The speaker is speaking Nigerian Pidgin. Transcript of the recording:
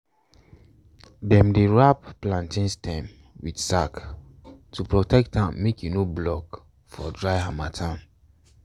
dem dey wrap plantain stem with sack to protect am make e no block for dry harmattan.